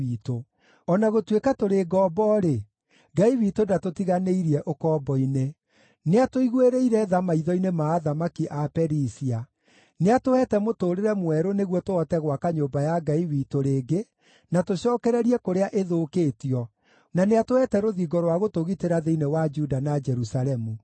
O na gũtuĩka tũrĩ ngombo-rĩ, Ngai witũ ndatũtiganĩirie ũkombo-inĩ. Nĩatũiguĩrĩire tha maitho-inĩ ma athamaki a Perisia: Nĩatũheete mũtũũrĩre mwerũ nĩguo tũhote gwaka nyũmba ya Ngai witũ rĩngĩ na tũcookererie kũrĩa ĩthũkĩtio, na nĩatũheete rũthingo rwa gũtũgitĩra thĩinĩ wa Juda na Jerusalemu.